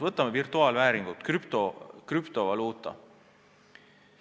Võtame virtuaalvääringud, krüptovaluuta.